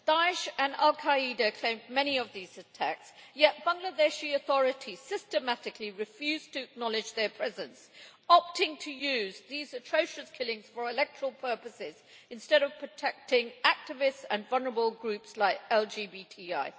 Daesh and al-Qaeda claimed many of these attacks, yet Bangladeshi authorities systematically refuse to acknowledge their presence, opting to use these atrocious killings for electoral purposes instead of protecting activists and vulnerable groups like LGBTI.